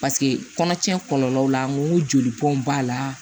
Paseke kɔnɔtiɲɛ kɔlɔlɔw la n ko jolibɔn b'a la